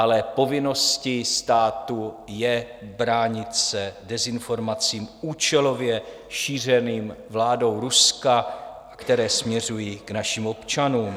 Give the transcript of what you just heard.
Ale povinností státu je bránit se dezinformacím účelově šířeným vládou Ruska, které směřují k našim občanům.